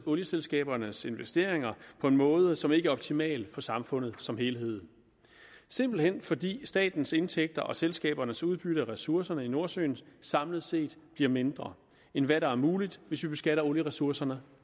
olieselskabernes investeringer på en måde som ikke er optimal for samfundet som helhed simpelt hen fordi statens indtægter og selskabernes udbytte af ressourcerne i nordsøen samlet set bliver mindre end hvad der er muligt hvis vi beskatter olieressourcerne